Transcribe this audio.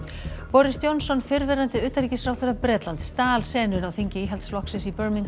boris Johnson fyrrverandi utanríkisráðherra Bretlands stal senunni á þingi Íhaldsflokksins í